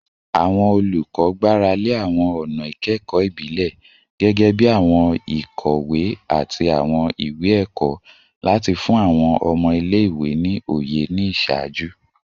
Awọn olukọ gbarale awọn ọna ikẹkọ ibile, gẹgẹbi awọn ikowe ati awọn iwe-ẹkọ, lati fun awọn ọmọ ile-iwe ni oye ni iṣaaju